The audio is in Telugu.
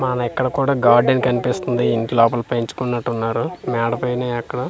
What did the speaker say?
మనక్కిక్కడ కూడా గార్డెన్ కన్పిస్తుంది ఇంట్లోపల పెంచుకున్నట్టున్నారు మేడ పైన ఎక్కడో--